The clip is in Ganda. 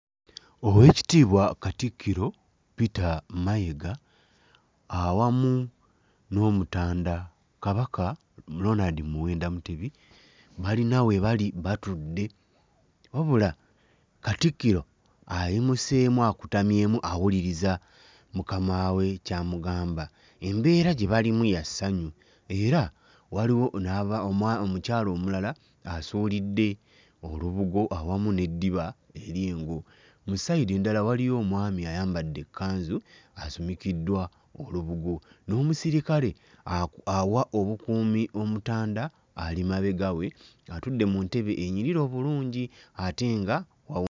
Oweekitiibwa Katikkiro Peter Mayiga awamu n'omutanda Kabaka Ronald Muwenda Mutebi balina we bali batudde wabula Katikkiro ayimuseemu akutamyemu awuliriza mukama we ky'amugamba. Embeera gye balimu ya ssanyu era waliwo n'aba mwa omukyala omulala asuulidde olubugo awamu n'eddiba ery'engo. Mu ssayidi endala waliyo omwami ayambadde ekkanzu asumikiddwa olubugo n'omusirikale aku awa obukuumi omutanda ali mabega we atudde mu ntebe enyirira obulungi ate nga awo.